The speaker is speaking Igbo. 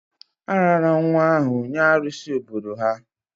A raara nwa ahụ nye arụsi obodo ha